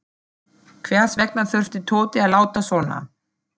Hvers vegna þurfti Tóti að láta svona.